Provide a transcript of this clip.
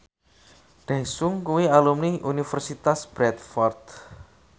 Daesung kuwi alumni Universitas Bradford